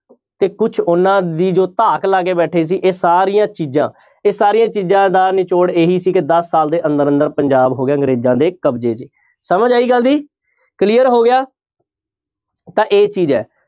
ਤੇ ਕੁਛ ਉਹਨਾਂ ਦੀ ਜੋ ਧਾਕ ਲਾ ਕੇ ਬੈਠੇ ਸੀ ਇਹ ਸਾਰੀਆਂ ਚੀਜ਼ਾਂ ਇਹ ਸਾਰੀਆਂ ਚੀਜ਼ਾਂ ਦਾ ਨਿਚੋੜ ਇਹੀ ਸੀ ਕਿ ਦਸ ਸਾਲ ਦੇ ਅੰਦਰ ਅੰਦਰ ਪੰਜਾਬ ਹੋ ਗਿਆ ਅੰਗਰੇਜ਼ਾਂ ਦੇੇ ਕਬਜ਼ੇ 'ਚ ਸਮਝ ਆਈ ਗੱਲ ਦੀ clear ਹੋ ਗਿਆ ਤਾਂ ਇਹ ਚੀਜ਼ ਹੈ।